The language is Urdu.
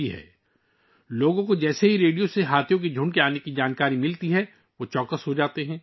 جیسے ہی لوگوں کو ہاتھیوں کے جھنڈ کی آمد کے بارے میں ریڈیو کے ذریعے جانکاری ملتی ہے، وہ ہوشیار ہو جاتے ہیں